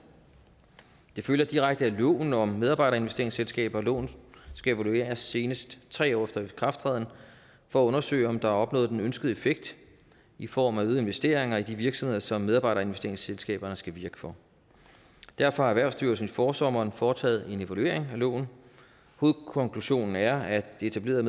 det følger direkte af loven om medarbejderinvesteringsselskaber at loven skal evalueres senest tre år efter ikrafttræden for at undersøge om der er opnået den ønskede effekt i form af øgede investeringer i de virksomheder som medarbejderinvesteringsselskaberne skal virke for derfor har erhvervsstyrelsen i forsommeren foretaget en evaluering af loven hovedkonklusionen er at det etablerede